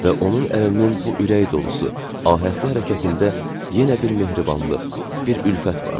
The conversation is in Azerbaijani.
Və onun əlinin bu ürək dolusu, ahəstə hərəkətində yenə bir mehribanlıq, bir ülfət vardı.